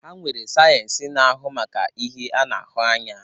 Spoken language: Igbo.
Ha nwere sayensị na-ahu maka ihe a na-ahụ anya.